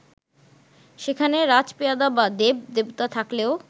সেখানে রাজপেয়াদা বা দেব-দেবতা থাকলেও